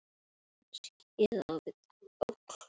Hvað er helst fram undan?